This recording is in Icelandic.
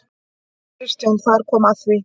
KRISTJÁN: Þar kom að því!